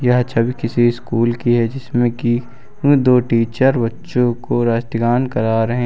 यह छवि किसी स्कूल की है जिसमें की दो टीचर बच्चों को राष्ट्रगान करा रहे हैं।